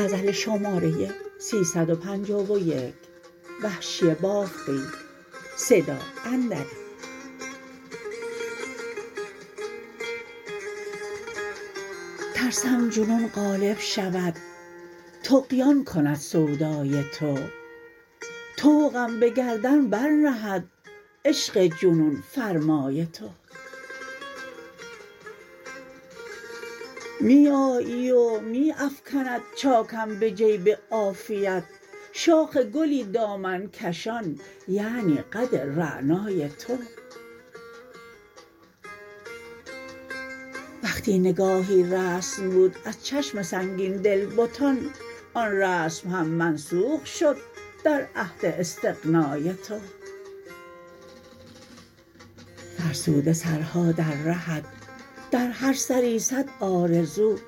ترسم جنون غالب شود طغیان کند سودای تو طوقم به گردن برنهد عشق جنون فرمای تو می آیی و می افکند چا کم به جیب عافیت شاخ گلی دامن کشان یعنی قد رعنای تو وقتی نگاهی رسم بود از چشم سنگین دل بتان آن رسم هم منسوخ شد در عهد استغنای تو فرسوده سرها در رهت در هر سری سد آرزو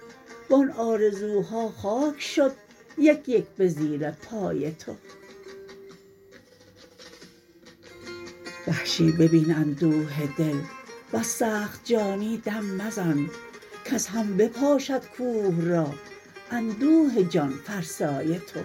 وان آرزوها خاک شد یک یک به زیر پای تو وحشی ببین اندوه دل وز سخت جانی دم مزن کز هم بپاشد کوه را اندوه جان فرسای تو